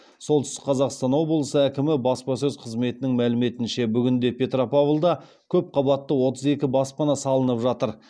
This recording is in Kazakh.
солтүстік қазақстан облысы әкімі баспасөз қызметінің мәліметінше бүгінде петропавлда көп қабатты отыз екі баспана салынып жатыр